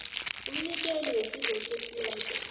umnikeli wesizo okhethiweko